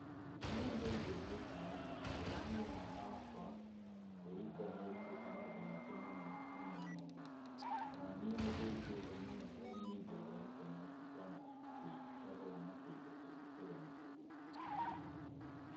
Nyamũ ĩno nĩ ĩndeithĩtie mũno gũthomithia mwana wakwa, kwĩruta nĩerutĩte maũndũ maingĩ mũno mũno mũno. O na niĩ nĩ ndĩrutĩte mũno tondũ nĩ nyingĩraga intaneti ngona atĩ, ngathoma tũindo tũngĩ tũgeni tũgeni.